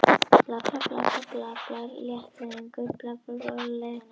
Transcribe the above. Telja almenna leiðréttingu skynsamlegustu leiðina